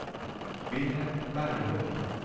Vilhelm Berglund